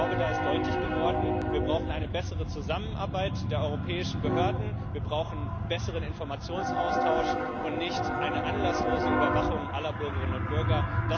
Ich glaube, da ist deutlich geworden Wir brauchen eine bessere Zusammenarbeit der europäischen Behörden, wir brauchen besseren Informationsaustausch und nicht eine anlasslose Überwachung aller Bürgerinnen und Bürger.